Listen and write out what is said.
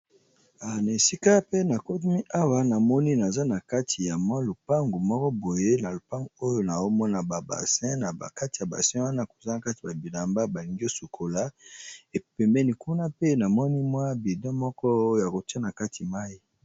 Awa esika pe nakomi awa na moni naza na kati ya mwi lupangu moko boye na lupangu oyo na omona ba basin na bakati ya basin wana kozala kati ba bilamba balingi osukola epemeni kuna pe na moni mwa bido mokoya kotia na kati mai.